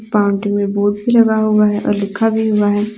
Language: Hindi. बाउंड्री में बोर्ड भी लगा हुआ है और लिखा भी हुआ है।